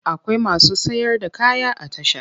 Akwai masu sayar da kaya a tasha.